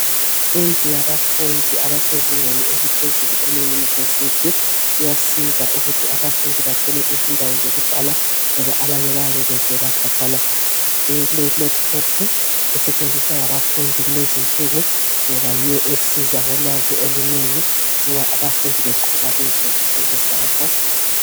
Indlu yabafundi abasezingeni eliphezulu e university kuyasiza ukuthi abafundi bathole indawo yokuhlala ngoba abanye bayabe bevela khatshana kulelaptop isetshenziswa ngabafundi kulezinsuku ngoba yiyo esilolwazi olunengi nxa abafundi beqhuba izifundo zabo